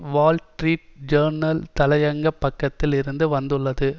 Wall Street Journal தலையங்கப் பக்கத்தில் இருந்தும் வந்துள்ளது